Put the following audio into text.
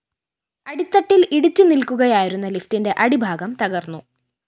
അടിത്തട്ടില്‍ ഇടിച്ച് നില്‍ക്കുകയായിരുന്ന ലിഫിറ്റിന്റെ അടിഭാഗം തകര്‍ന്നു